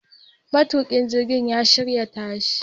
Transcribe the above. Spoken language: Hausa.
Matukin jirgin ya shirya tashi